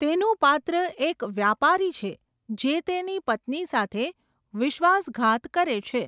તેનું પાત્ર એક વ્યાપારી છે જે તેની પત્ની સાથે વિશ્વાસઘાત કરે છે.